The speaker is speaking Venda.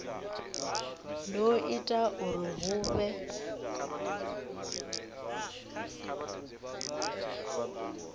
do ita uri hu vhe